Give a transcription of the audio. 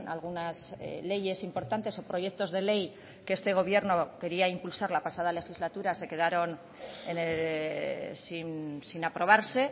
algunas leyes importantes o proyectos de ley que este gobierno quería impulsar la pasada legislatura se quedaron sin aprobarse